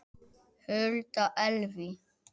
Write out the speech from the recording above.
Hulda Elvý.